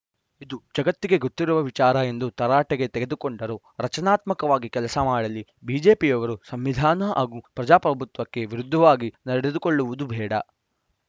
ಇದು ಜಗತ್ತಿಗೆ ಗೊತ್ತಿರುವ ವಿಚಾರ ಎಂದು ತರಾಟೆಗೆ ತೆಗೆದುಕೊಂಡರು ರಚನಾತ್ಮಕವಾಗಿ ಕೆಲಸ ಮಾಡಲಿ ಬಿಜೆಪಿಯವರು ಸಂವಿಧಾನ ಹಾಗೂ ಪ್ರಜಾಪ್ರಭುತ್ವಕ್ಕೆ ವಿರುದ್ಧವಾಗಿ ನಡೆದುಕೊಳ್ಳುವುದು ಬೇಡ